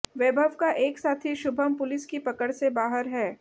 वैभव का एक साथी शुभम पुलिस की पकड़ से बाहर है